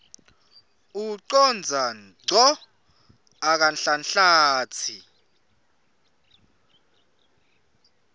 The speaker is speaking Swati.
ucondza ngco akanhlanhlatsi